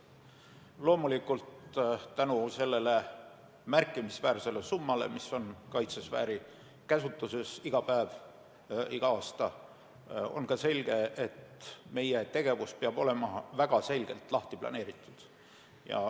Loomulikult, selle märkimisväärse summa tõttu, mis on kaitsesfääri käsutuses iga päev ja iga aasta, on ka selge, et meie tegevus peab olema väga selgelt lahti planeeritud.